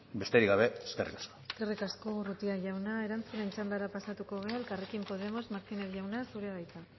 besterik gabe eskerrik asko eskerrik asko urrutia jauna erantzunen txandara pasatuko gara elkarrekin podemos martínez jauna zurea da hitza